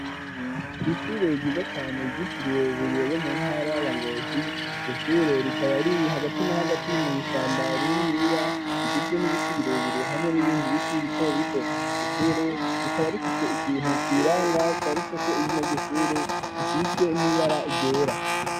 Kw' ishure ryiza cane gitiriwe buriye yo mu ntara ya ngozi, ryoshure rikaba riri hagati n'a hagati mw' ishamba rininiya, rigizwe n'ibiti birebire, hamwe n'ibindi biti bito bito, ryoshure rikaba rifise ikintu kiranga canditse ko izina ryishure, gisizwe n'ibara ryera.